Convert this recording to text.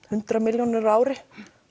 hundrað milljónir á ári